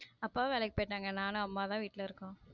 அப்பாவும் வேலைக்கி போய்ட்டாங்க நானும் அம்மாவும் தான் வீட்ல இருக்கோம்.